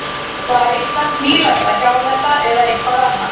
Var Ísland nýlenda, hjálenda eða eitthvað annað?